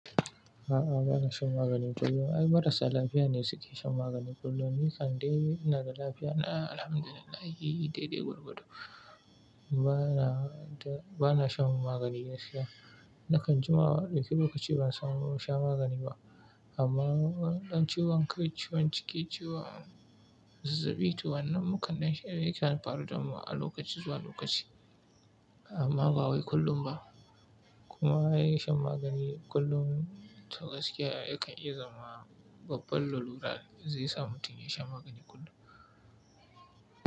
A'a, ba na shan magani kullum. Ai marasa lafiya ne suke shan magani kullum. Ni kan dai na da lafiya na, alhamdu lillahi daidai gwargwado. Ba na, ba na shan magani gaskiya. Nakan jima, in ɗauki lokaci ban samu na sha magani ba. Amma in ciwon kai, ciwon ciki, ciwon zazzaɓi, to, wannan mu kan ɗan sha yakan faru damu a lokaci zuwa lokaci, amma bawai kullum ba. Kuma ai shan magani kullum to gaskiya yakan iya zama babban lalura zai sa mutum ya sha magani kullum.